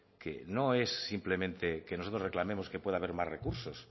que no es simplemente que nosotros reclamemos que pueda haber más recursos